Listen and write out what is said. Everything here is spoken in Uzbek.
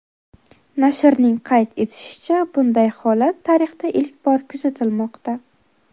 Nashrning qayd etishicha, bunday holat tarixda ilk bor kuzatilmoqda.